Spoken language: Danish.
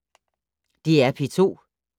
DR P2